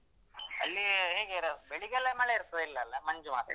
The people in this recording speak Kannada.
ಅಲ್ಲಿ ಹೇಗೆ ಬೆಳಿಗ್ಗೆಲ್ಲ ಮಳೆ ಇರ್ತದ ಇಲ್ಲಲಾ ಮಂಜು ಮಾತ್ರಲ?